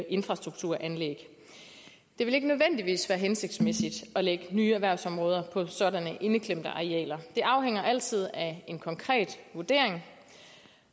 infrastrukturanlæg det vil ikke nødvendigvis være hensigtsmæssigt at lægge nye erhvervsområder på sådanne indeklemte arealer det afhænger altid af en konkret vurdering